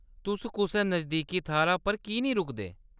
तुस कुसै नजदीकी थाह्‌‌‌रै पर की नेईं रुकदे ?